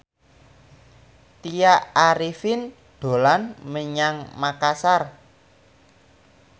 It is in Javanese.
Tya Arifin dolan menyang Makasar